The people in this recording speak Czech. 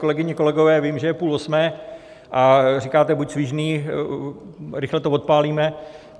Kolegyně, kolegové, vím, že je půl osmé a říkáte: Buď svižný, rychle to odpálíme.